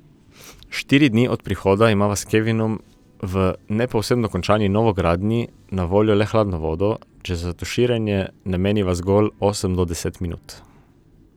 Štiri dni od prihoda imava s Kevinom v ne povsem dokončani novogradnji na voljo le hladno vodo, če za tuširanje nameniva zgolj osem do deset minut.